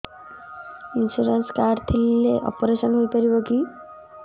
insurance card ଥିଲେ operation ହେଇପାରିବ କି